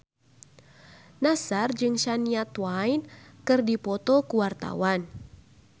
Nassar jeung Shania Twain keur dipoto ku wartawan